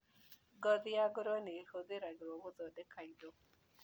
Ngothi ya ngũrũwe nĩihũthĩragwo gũthondeka indo.